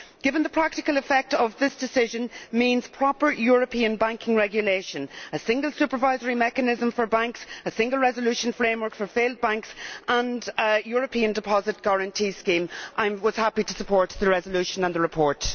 Given that the practical effect of this decision means proper European banking regulation, a single supervisory mechanism for banks, a single resolution framework for failed banks and a European deposit guarantee scheme, I was happy to support the resolution and the report.